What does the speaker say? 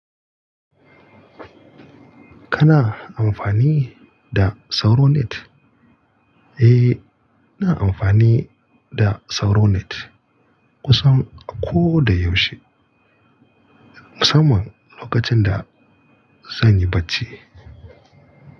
Kana amfani da SauroNet? Eh, ina amfani da SauroNet kusan ko da yaushe musamman lokacin da zan yi bacci.